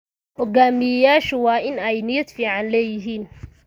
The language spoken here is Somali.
Hogaamiyeyaashu waa in ay niyad fiican leeyihiin.